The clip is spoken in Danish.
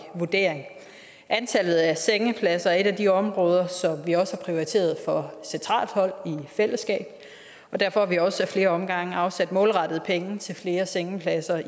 vurdering antallet af sengepladser er et af de områder som vi også har prioriteret fra centralt hold i fællesskab og derfor har vi også ad flere omgange afsat målrettede penge til flere sengepladser